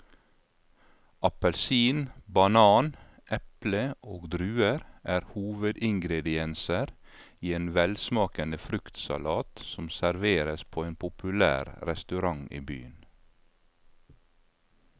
Appelsin, banan, eple og druer er hovedingredienser i en velsmakende fruktsalat som serveres på en populær restaurant i byen.